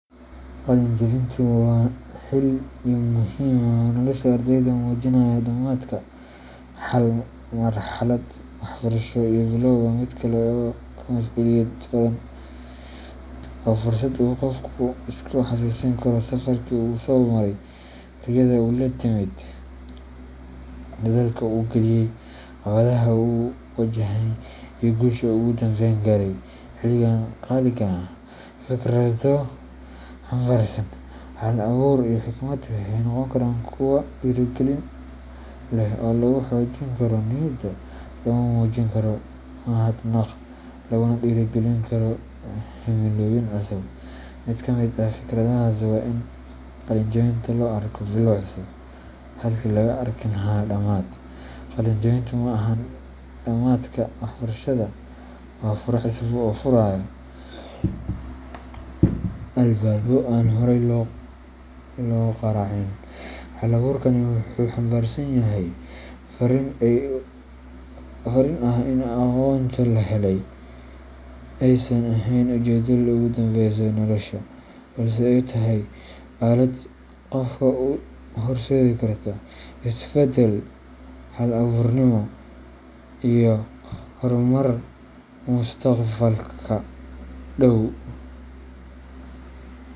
Qalin jebintu waa xilli muhiim ah oo nolosha ardayda muujinaya dhammaadka hal marxalad waxbarasho iyo bilowga mid kale oo ka masuuliyad badan. Waa fursad uu qofku isku xasuusin karo safarkii uu soo maray riyada uu la timid, dadaalka uu geliyay, caqabadaha uu wajahay, iyo guusha uu ugu dambeyn gaaray. Xilligan qaaliga ah, fikrado xambaarsan hal abuur iyo xikmad waxay noqon karaan kuwo dhiirrigelin leh oo lagu xoojin karo niyadda, lagu muujin karo mahadnaq, laguna dhiirrigelin karo himilooyin cusub. Mid ka mid ah fikradahaas waa in qalin jebinta loo arko bilow cusub, halkii laga arki lahaa dhammaad: "Qalin jebintu ma ahan dhammaadka waxbarashada, waa fure cusub oo furaya albaabbo aan horay loo garaacin." Hal abuurkani wuxuu xambaarsan yahay fariin ah in aqoonta la helay aysan ahayn ujeedada ugu dambeysa ee nolosha, balse ay tahay aalad qofka u horseedi karta is beddel, hal abuurnimo iyo horumar mustaqbalka dhow.